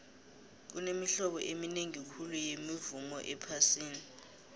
kunemihlobo eminingi khulu yemivumo ephasini